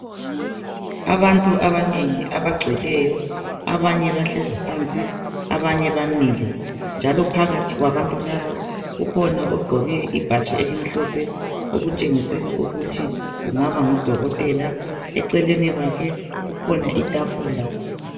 Abantu abanengi abagcweleyo abanye bahlezi phansi abanye bamile njalo phakathi kwabantu laba kukhona ogqoke ibhatshi elimhlophe okutshengisela ukuthi kungaba ngudokotela eceleni kwakhe kukhona itafula.